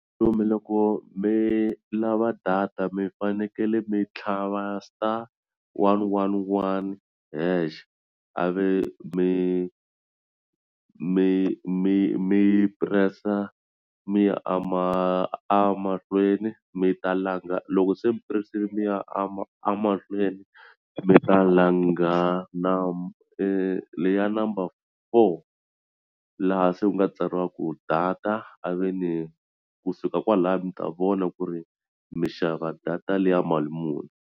Kumbe loko mi loko mi lava data mi fanekele mi tlhava star one, one, one hash a ve mi mi mi mi press-a mi ya a ma a mahlweni mi ta langa loko se puresini mi ya amahlweni mi ta langa na i leyi ya number four laha se ku nga tsariwa ku data a ve ni kusuka kwalaya mi ta vona ku ri mi xava data liya mali muni.